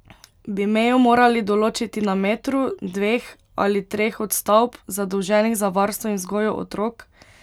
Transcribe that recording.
Bi mejo morali določiti na metru, dveh ali treh od stavb, zadolženih za varstvo in vzgojo otrok?